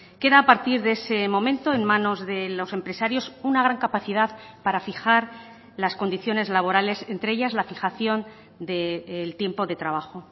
queda a partir de ese momento en manos de los empresarios una gran capacidad para fijar las condiciones laborales entre ellas la fijación del tiempo de trabajo